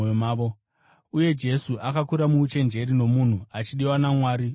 Uye Jesu akakura muuchenjeri nomumhu, achidiwa naMwari uye navanhu.